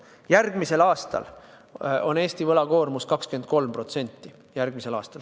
Järgmisel aastal on Eesti võlakoormus 23%, järgmisel aastal.